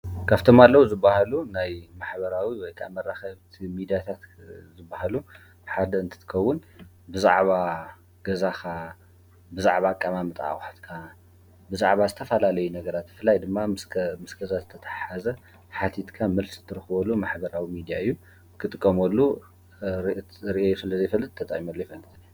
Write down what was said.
ካብቶም ኣለው ዝበሃሉ ናይ ማሕበራዊ ሚድያታትን ዝበሃሉ ሓደ እንትከውን ብዛዕባ ገዛኻ፣ ብዛዕባ ኣቀማምጣ ኣቑሑትካ ፣ብዛዕባ ዝተፈላለዩ ነገራት ብፍላይ ድማ ምስ ገዛ ዝተተሓሓዘ ሓቲትካ መልሲ እትረኽበሉ ማሕበራዊ ሚድያ እዩ። ክጥቀመሉ ርእየ ስለዘይፈልጥ ተጠቂመ ኣይፈልጥን።